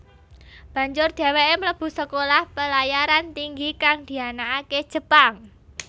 Banjur dheweke mlebu Sekolah Pelayaran Tinggi kang dianakake Jepang